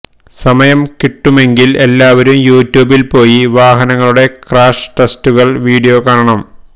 സമയം കിട്ടുമെങ്കിൽ എല്ലാവരും യൂട്യൂബിൽ പോയി വാഹനങ്ങളുടെ ക്രാഷ് ടെസ്റ്റുകളുടെ വീഡിയൊ കാണണം